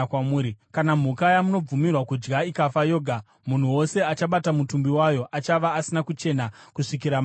“ ‘Kana mhuka yamunobvumirwa kudya ikafa yoga, munhu wose achabata mutumbi wayo achava asina kuchena kusvikira manheru.